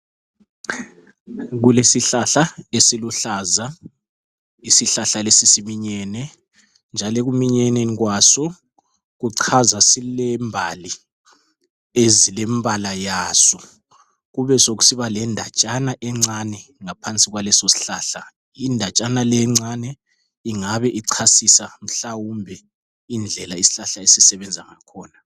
Kule sihlahla esiluhlaza. Isihlahla lesi siminyene. Njalo ekuminyeneni kwaso kuchaza sile mbali ezilembala yaso. Kube sokusiba lendatshana encane ngaphansi kwaleso sihlahla. Indatshana le encane ingabe ichasisa mhlawumbe indlela ishlahla esisebenza ngakhona.